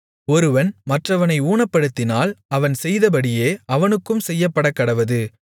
ஒருவன் மற்றவனை ஊனப்படுத்தினால் அவன் செய்தபடியே அவனுக்கும் செய்யப்படக்கடவது